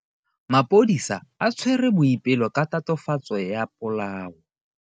Maphodisa a tshwere Boipelo ka tatofatso ya polao.